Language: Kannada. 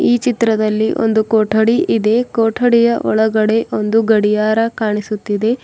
ಈ ಚಿತ್ರದಲ್ಲಿ ಒಂದು ಕೊಠಡಿ ಇದೆ ಕೊಠಡಿಯ ಒಳಗಡೆ ಒಂದು ಗಡಿಯಾರ ಕಾಣಿಸುತ್ತಿದೆ.